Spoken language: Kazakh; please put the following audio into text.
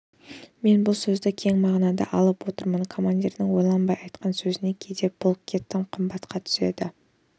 мен бұл сөзді кең мағынада алып отырмын командирдің ойланбай айтқан сөзі кейде полкке тым қымбатқа түседі